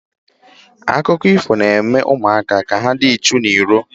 Akụkọ ifo na-eme ụmụaka ka ha dị ichu n'ọrụ.